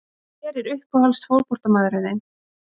Hver er uppáhalds fótboltamaðurinn þinn?